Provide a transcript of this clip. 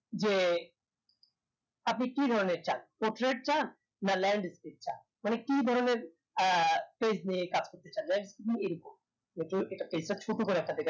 যে আপনি কি ধরনের চান portrait চান না landscape চান মানে কি ধরনের আহ page নিয়ে কাজ করতে চান landscape এরকম যদিও এটা page টা ছোট করে আপনাদেরকে